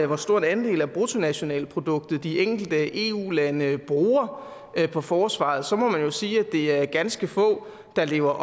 hvor stor en andel af bruttonationalproduktet de enkelte eu lande bruger på forsvaret så må man jo sige at det er ganske få der lever